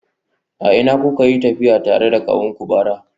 A ina kuka yi tafiya tare da kawunku bara?